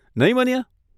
નહીં, મનીયા?